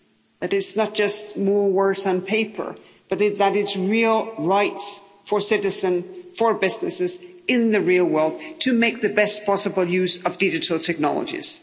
that it's not just more words on paper, but that it's real rights for citizens, for businesses, in the real world, to make the best possible use of digital technologies.